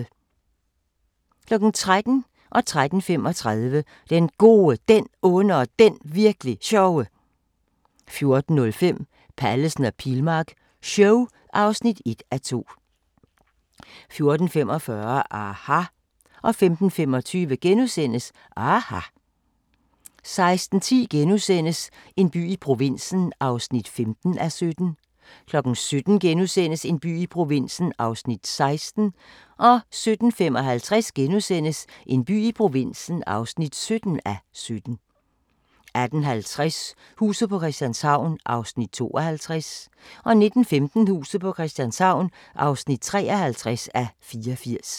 13:00: Den Gode, Den Onde og Den Virk'li Sjove 13:35: Den Gode, Den Onde og Den Virk'li Sjove 14:05: Pallesen og Pilmark show (1:2) 14:45: aHA! 15:25: aHA! * 16:10: En by i provinsen (15:17)* 17:00: En by i provinsen (16:17)* 17:55: En by i provinsen (17:17)* 18:50: Huset på Christianshavn (52:84) 19:15: Huset på Christianshavn (53:84)